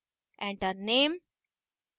enter name: